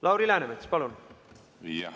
Lauri Läänemets, palun!